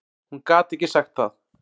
Hún gat ekki sagt það.